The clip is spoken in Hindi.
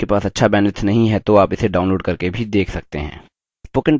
यदि आपके पास अच्छा bandwidth नहीं है तो आप इसे download करके भी देख सकते हैं